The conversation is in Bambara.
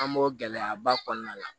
An b'o gɛlɛyaba kɔnɔna la